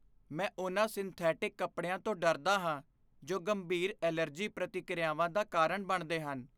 ਮੈਂ ਉਹਨਾਂ ਸਿੰਥੈਟਿਕ ਕੱਪੜਿਆਂ ਤੋਂ ਡਰਦਾ ਹਾਂ ਜੋ ਗੰਭੀਰ ਐਲਰਜੀ ਪ੍ਰਤੀਕ੍ਰਿਆਵਾਂ ਦਾ ਕਾਰਨ ਬਣਦੇ ਹਨ।